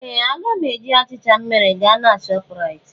Ee! Aga m eji achịcha m mere gaa na Shọpraịt.